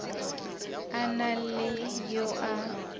a na le yo a